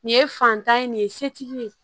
Nin ye fanta ye nin ye setigi ye